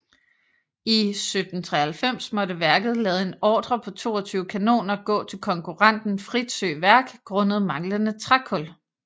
I 1793 måtte værket lade en ordre på 22 kanoner gå til konkurrenten Fritzøe Værk grundet manglende trækul